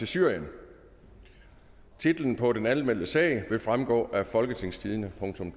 tyve titlen på den anmeldte sag vil fremgå af folketingstidende